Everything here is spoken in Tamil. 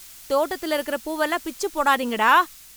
தோட்டத்துல இருக்குற பூவெல்லாம் பிச்சு போடாதீங்க டா